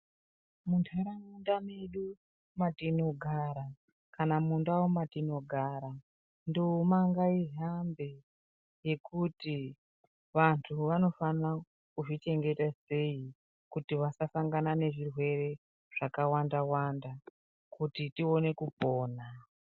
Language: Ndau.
Muntaraunda medu matinogara kana mundau matinogara nduma ngaihambe. Ngekuti vantu anofanira kuzvichengeta sei. Kuti vasasangana nezvirwere zvakawanda-wanda kuti tione kupona.